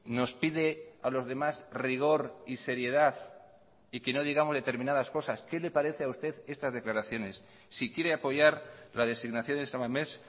nos pide a los demás rigor y seriedad y que no digamos determinadas cosas qué le parece a usted estas declaraciones si quiere apoyar la designación de san mamés